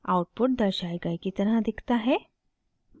output दर्शाये गए की तरह दिखता है